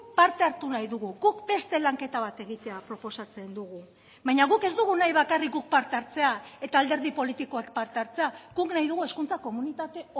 parte hartu nahi dugu guk beste lanketa bat egitea proposatzen dugu baina guk ez dugu nahi bakarrik guk parte hartzea eta alderdi politikoak parte hartzea guk nahi dugu hezkuntza komunitate